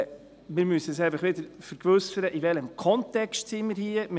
Wir müssen uns einfach vergewissern, in welchem Kontext wir hier sind.